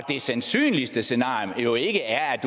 det sandsynligste scenarie jo ikke er